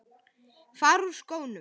Fara úr skónum.